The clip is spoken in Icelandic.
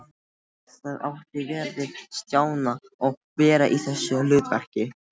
Það átti vel við Stjána að vera í þessu hlutverki.